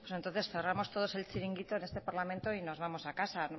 pues entonces cerramos todos el chiringuito en este parlamento y nos vamos a casa